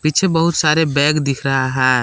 पीछे बहुत सारे बैग दिख रहा है।